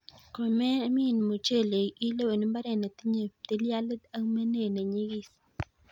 Komemin mochelek, ilewen mbaret netinye ptilialit ak menet nenyis.